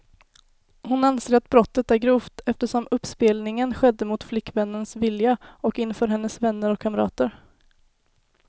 Hon anser att brottet är grovt, eftersom uppspelningen skedde mot flickvännens vilja och inför hennes vänner och kamrater.